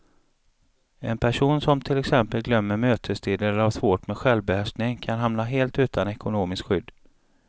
En person som till exempel glömmer mötestider eller har svårt med självbehärskningen kan hamna helt utan ekonomiskt skydd.